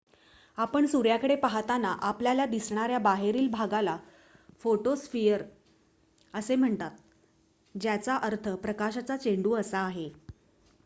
"आपण सूर्याकडे पाहताना आपल्याला दिसणाऱ्या बाहेरील भागाला फोटोस्फिअर असे म्हणतात ज्याचा अर्थ "प्रकाशाचा चेंडू" असा आहे.